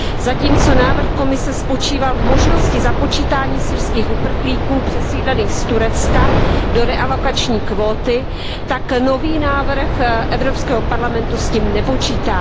Zatímco návrh Komise spočíval v možnosti započítání syrských uprchlíků přesídlených z Turecka do realokační kvóty, tak nový návrh Evropského parlamentu s tím nepočítá.